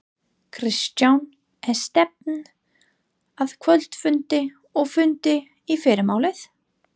Kristján: Er stefnt að kvöldfundi og fundi í fyrramálið?